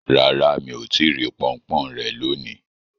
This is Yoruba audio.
Rara, mi o ti ri ponpon re loni